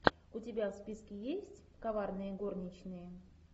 у тебя в списке есть коварные горничные